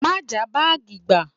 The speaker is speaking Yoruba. Má jàá báàgì gbà!